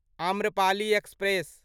Amrapali express